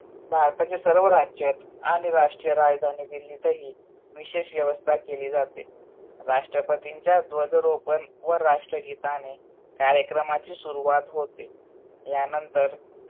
भारताच्या सर्व राज्यात आणि राष्ट्रीय राजधानी दिल्लीतही विषेश व्यवस्था केली जाते. राष्ट्रपतींचा ध्वजारोपण व राष्ट्रगीताने कार्यक्रमाचे सुरवात होते. यानंतर